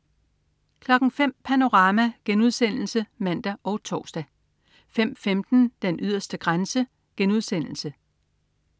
05.00 Panorama* (man og tors) 05.15 Den yderste grænse*